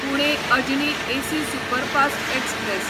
Pune Ajni AC superfast express